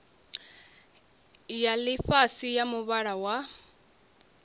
ya ḽifhasi ya muvhala wa